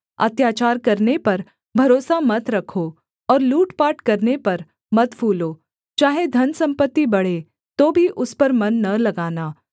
अत्याचार करने पर भरोसा मत रखो और लूट पाट करने पर मत फूलो चाहे धनसम्पत्ति बढ़े तो भी उस पर मन न लगाना